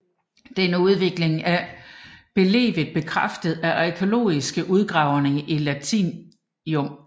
Denne udvikling er belevet bekræftet af arkæologiske udgravninger i Latium